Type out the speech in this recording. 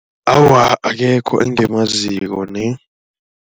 Awa akekho engimaziko.